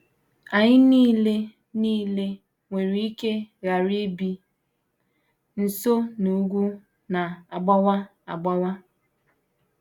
Anyị nile nile nwere ike ghara ibi nso n’ugwu na - agbawa agbawa.